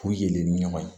K'u yɛlɛ ni ɲɔgɔn ye